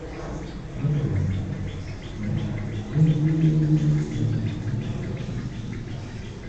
Níkẹyìn, ye wipe ayo tumo si yipada.